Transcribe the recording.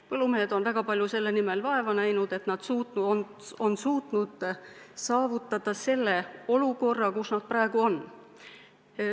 Põllumehed on väga palju vaeva näinud, et saavutada see olukord, kus nad praegu on.